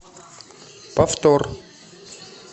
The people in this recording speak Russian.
повтор